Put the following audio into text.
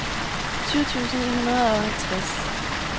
tyve tusind ni hundrede og halvtreds